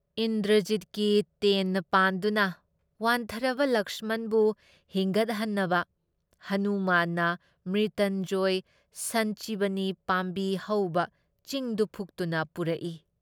ꯏꯟꯗ꯭ꯔꯖꯤꯠꯀꯤ ꯇꯦꯟꯅ ꯄꯥꯟꯗꯨꯅ ꯋꯥꯟꯊꯔꯕ ꯂꯛꯁꯃꯟꯕꯨ ꯍꯤꯡꯒꯠꯍꯟꯅꯕ ꯍꯅꯨꯃꯥꯟꯅ ꯃ꯭ꯔꯤꯇꯟꯖꯌ ꯁꯟꯆꯤꯕꯅꯤ ꯄꯥꯝꯕꯤ ꯍꯧꯕ ꯆꯤꯡꯗꯨ ꯐꯨꯛꯇꯨꯅ ꯄꯨꯔꯛꯏ ꯫